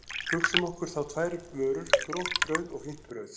Hugsum okkur þá tvær vörur, gróft brauð og fínt brauð.